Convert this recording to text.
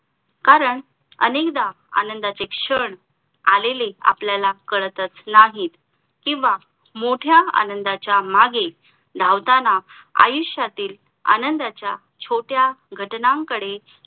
कारण अनेकदा आनंदाचे क्षण आलेले आपल्याला काळातच नाही किंवा मोठ्या आनंदाचा मागे धावताना आयुष्यातील आनंदाचा छोट्या घटनांकडे